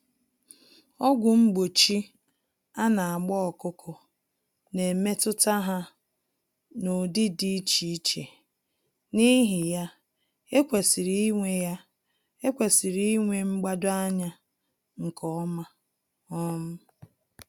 Ọgwụ mgbochi anagba ọkụkọ n'emetụta ha n'ụdị dị iche iche, n'ihi ya, ekwesịrị ịnwe ya, ekwesịrị ịnwe mgbado-anya nke ọma um